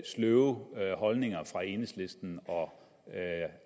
sløve holdninger fra enhedslisten og